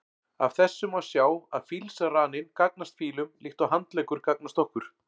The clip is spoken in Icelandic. Af þessu má sjá að fílsraninn gagnast fílum líkt og handleggur gagnast okkur.